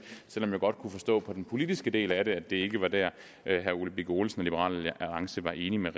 selv om jeg godt kunne forstå på den politiske del af det at det ikke var der herre ole birk olesen og liberal alliance var enige med